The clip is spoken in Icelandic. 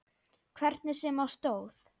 Hvernig sem á stóð.